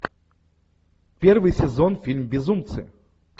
первый сезон фильм безумцы